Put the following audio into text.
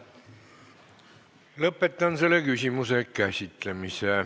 Lõpetan selle küsimuse käsitlemise.